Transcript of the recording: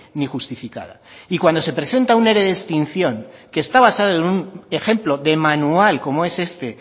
ni justificada y cuando se presenta un ere de extinción que está basado en un ejemplo de manual como es este